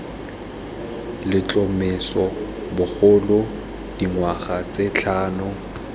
letlhomeso bogolo dingwaga tse tlhano